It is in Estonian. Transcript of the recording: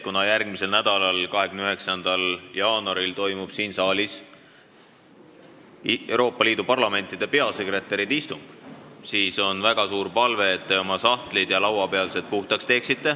Kuna järgmisel nädalal, 29. jaanuaril toimub siin saalis Euroopa Liidu parlamentide peasekretäride istung, siis on mul teile väga suur palve, et te teeksite oma sahtlid ja lauapealsed puhtaks.